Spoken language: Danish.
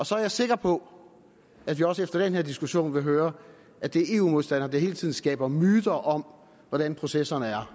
så er jeg sikker på at vi også efter den her diskussion vil høre at det er eu modstandere der hele tiden skaber myter om hvordan processerne er